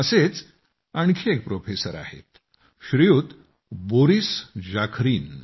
असेच आणखी एक प्रोफेसर आहेत श्रीयुत बोरीस जाखरीन